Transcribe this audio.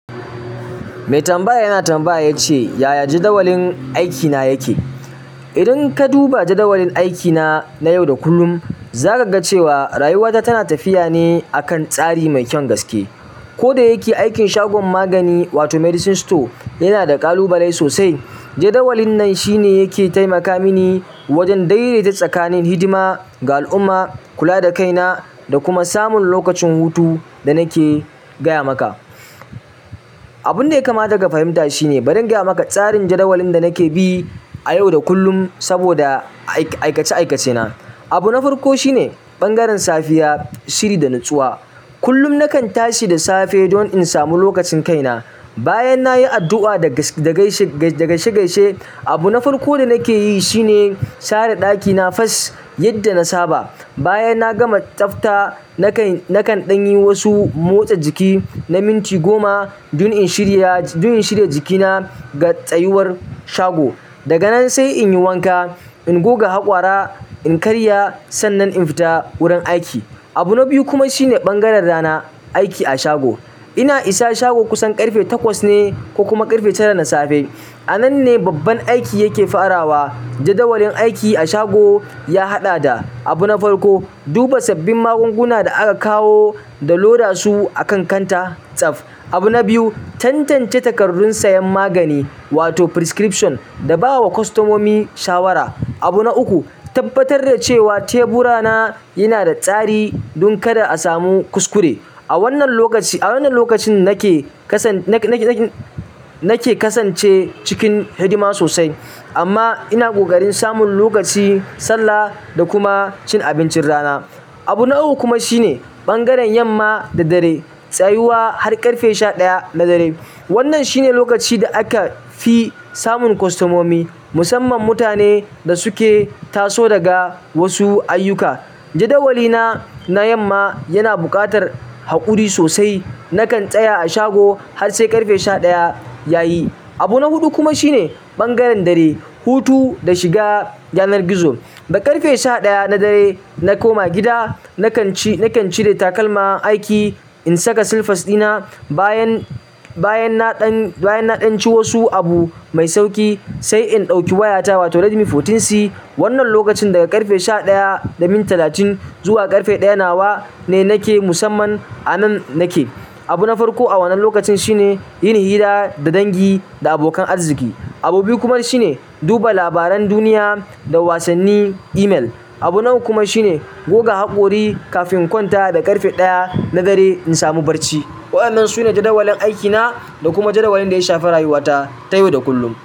Mai tambaya yana tambaya yace, "Yaya jadawalin aikina yake?" Idan ka duba jadawalin aikina na yau da kullum, za kaga cewa rayuwata tana tafiyane akan tsari mai kyan gaske. Koda yake, aikin shagon magani wato medicine store yanada kalubalai sosai. Jadawalin nan shine yake taimaka mini wajen daidaita tsakanin hidima ga al'umma, kula da kaina da kuma samun lokacin hutu da nake gaya maka. Abunda yakamata ka fahimta shine, bari in gaya maka tsarin jadawalin da nake bi a yau da kullum saboda aikace-aikacena. Abu na farko shine bangaren safiya, shiri da nutsuwa. Kullum nakan tashi da safe don in samu lokacin kaina. Bayan nayi addu'a da gaishe-gaishe, abu na farko da nake yi shine share ɗakina fes yadda na saba. Bayan na gama tsafta, nakan ɗanyi wasu motsa jiki na minti goma don in shirya, don in shirya jikina ga tsayuwar shago. Daga nan sai in yi wanka, in goga haƙora, in karya sannan in fita wurin aiki. Abu na biyu kuma shine bangaren rana, aiki a shago. Ina isa shago kusan ƙarfe takwas ne ko kuma ƙarfe tara na safe. A nan ne babban aiki yake farawa. Jadawalin aiki a shago ya haɗa da: Abu na farko, duba sabbin magunguna da aka kawo da loda su a kan kanta tsaf. Abu na biyu, tantance takardun sayan magani wato prescription da bawa kwastomomi shawara. Abu na uku, tabbatar da cewa tebura na yanada tsari don kada asamu kuskure. A wannan lokaci, a wannan lokacin nake kasan, nake-nake kasance cikin hidima sosai, amma ina ƙoƙarin samun lokaci sallah da kuma cin abincin rana. Abu na uku kuma shine bangaren yamma da dare tsayuwa har ƙarfe sha ɗaya na dare. Wannan shine lokaci da aka fi samun kwastomomi, musamman mutane da suke taso daga wasu ayyuka. Jadawali na na yamma yana buƙatar haƙuri sosai. Nakan tsaya a shago har sai ƙarfe sha ɗaya yayi. Abu na huɗu kuma shine bangaren dare, hutu da shiga yanar gizo. Da ƙarfe sha ɗaya na dare na koma gida, nakan cire takalman aiki, in saka silfas dina bayan, bayan naɗan, bayan na ɗanci wasu abu mai sauƙi sai in ɗauki wayata wato Redmi 14C. Wannan lokacin daga ƙarfe sha ɗaya da minti talatin zuwa ƙarfe ɗaya nawa ne nake musamman anan nake. Abu na farko a wannan lokacin shine yin hira da dangi da abokan arziki. Abu biyu kuma shine duba labaran duniya da wasanni email. Abu na uku kuma shine goga haƙori kafin in kwanta da ƙarfe ɗaya na dare in samu barci. Wa'annan sune jadawalin aikina da kuma jadawalin ɗaya shafi rayuwata ta yau da kullum.